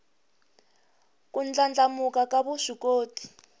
ku ndlandlamuka ka vuswikoti